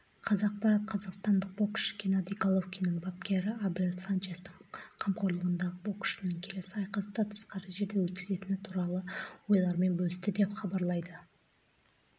қазақпарат қазақстандық боксшы геннадий головкиннің бапкері абель санчестің қамқорлығындағы боксшының келесі айқасты тысқары жерде өткізетіні туралы ойларымен бөлісті деп хабарлайды